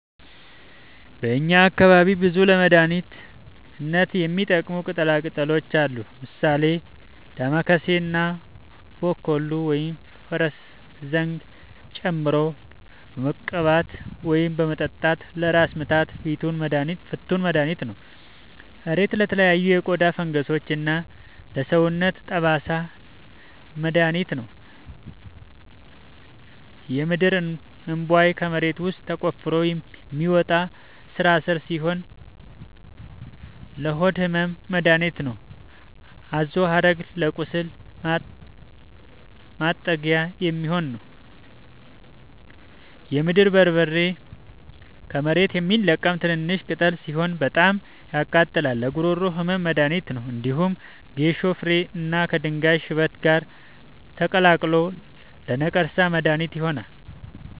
በእኛ አካባቢ ብዙ ለመድሀነት የሚሆኑ ቅጠላ ቅጠሎች አሉ። ምሳሌ፦ ዳማከሴ እና ቦኮሉ(ፈረስዘንግ) ጨምቆ በመቀባት ወይም በመጠጣት ለራስ ምታት ፍቱን መድሀኒት ነው። እሬት ለተለያዩ የቆዳ ፈንገሶች እና ለሰውነት ጠባሳ መድሀኒት ነው። የምድርእንቧይ ከመሬት ውስጥ ተቆፍሮ የሚወጣ ስራስር ሲሆን ለሆድ ህመም መደሀኒት ነው። አዞሀረግ ለቁስል ማጥጊያ የሚሆን ነው። የምድር በርበሬ ከመሬት የሚለቀም ትንሽሽ ቅጠል ሲሆን በጣም ያቃጥላል ለጉሮሮ ህመም መድሀኒት ነው። እንዲሁም ከጌሾ ፍሬ እና ከድንጋይ ሽበት ጋር ተቀላቅሎ ለነቀርሳ መድሀኒት ይሆናል።